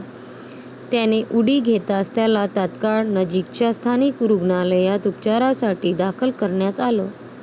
त्याने उडी घेताच त्याला तात्काळ नजिकच्या स्थानिक रुग्णालयात उपचारासाठी दाखल करण्यात आलं.